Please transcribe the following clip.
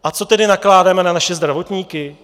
A co tedy nakládáme na naše zdravotníky?